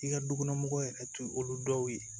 I ka dukɔnɔmɔgɔw yɛrɛ tun ye olu dɔw ye